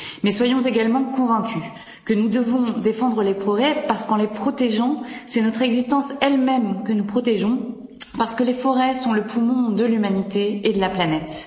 Mais soyons également convaincus que nous devons défendre les forêts parce qu'en les protégeant, c'est notre existence elle même que nous protégeons, parce que les forêts sont le poumon de l'humanité et de la planète.